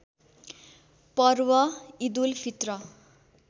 Parv Eidul Fitr